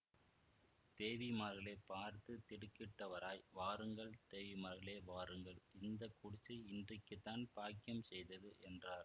தேவிமார்களைப் பார்த்து திடுக்கிட்டவராய் வாருங்கள் தேவிமார்களே வாருங்கள் இந்த குடிசை இன்றைக்குத்தான் பாக்கியம் செய்தது என்றார்